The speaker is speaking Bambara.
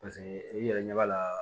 Paseke i yɛrɛ ɲɛ b'a la